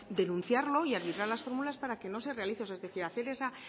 denunciarlo y arbitrar las fórmulas para que no se realice es decir hacer esa